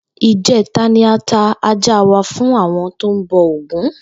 Ìjé̩ta ni a ta ajá wa fún àwo̩n tó ń bo̩ Ògún